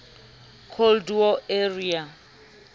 cold war era